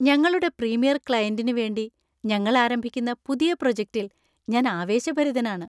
ഞങ്ങളുടെ പ്രീമിയർ ക്ലയന്‍റിനു വേണ്ടി ഞങ്ങൾ ആരംഭിക്കുന്ന പുതിയ പ്രോജക്റ്റിൽ ഞാൻ ആവേശഭരിതനാണ്.